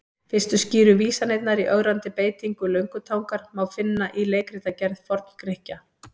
Fyrstu skýru vísanirnar í ögrandi beitingu löngutangar má finna í leikritagerð Forn-Grikkja.